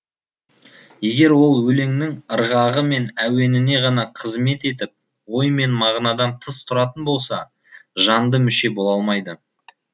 егер ол өлеңнің ырғағы мен әуеніне ғана қызмет етіп ой мен мағынадан тыс тұратын болса жанды мүше бола алмайды